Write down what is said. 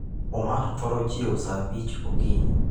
Omar thoro chiewo saa abich okinyi.